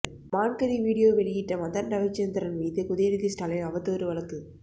மான்கறி video வெளியிட்ட மதன் ரவிச்சந்திரன் மீது உதயநிதி ஸ்டாலின் அவதூறு வழக்கு